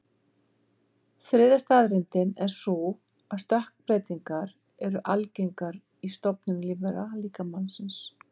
Þriðja staðreyndin er sú að stökkbreytingar eru algengar í stofnum lífvera, líka mannsins.